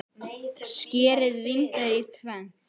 Skerið vínber í tvennt.